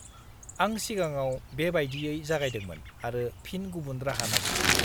-आं सिगाङाव बे बायदियै जागायदोंमोन आरो फिन गुबुन राहा नागिरदोंमोन।